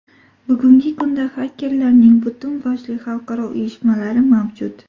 Bugungi kunda xakerlarning butun boshli xalqaro uyushmalari mavjud.